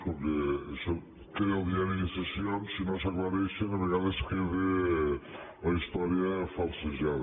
com que això queda al diari de sessions si no s’aclareixen a vegades queda la història falsejada